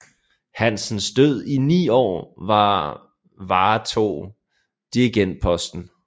Hansens Død i 9 år var varetog dirigentposten